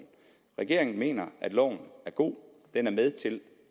regeringen mener at loven er god den er med til